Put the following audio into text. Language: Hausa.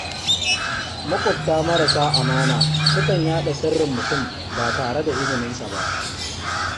Maƙwabta marasa amana sukan yaɗa sirrin mutane ba tare da izininsu ba.